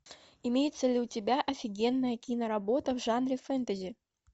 имеется ли у тебя офигенная киноработа в жанре фэнтези